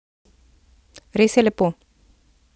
Res je lepo!